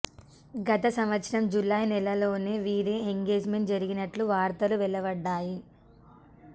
గత సంవత్సరం జులై నెలలోనే వీరి ఎంగేజ్మెంట్ జరిగినట్లు వార్తలు వెలువడ్డాయి